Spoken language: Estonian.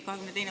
22.